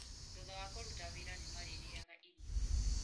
Thutha wa kũruta wĩra, nĩ marĩrĩaga irio.